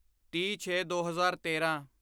ਤੀਹਛੇਦੋ ਹਜ਼ਾਰ ਤੇਰਾਂ